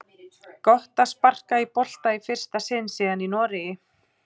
Gott að sparka í bolta í fyrsta sinn síðan í Noregi!